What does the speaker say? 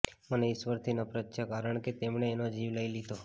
મને ઇશ્વરથી નફરત છે કારણ કે તેમણે એનો જીવ લઈ લીધો